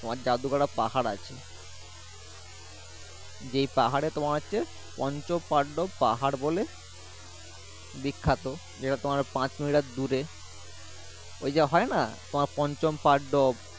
জাদু গড়ে পাহাড় আছে যেই পাহাড় এ তোমার পঞ্চপান্ডব পাহাড় বলে বিখ্যাত যে তা তোমার পাঁচ মিটার দূর এই যে হয় না পঞ্চপান্ডব।